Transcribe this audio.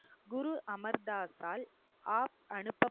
குரு அமர் தாஸால் அனுப்பப்~